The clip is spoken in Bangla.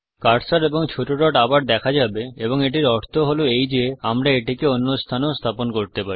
কার্সার এবং ছোট ডট আবার দেখা যাবে এবং এটির অর্থ হলো এই যে আমরা এটিকে অন্য স্থানেও স্থাপন করতে পারি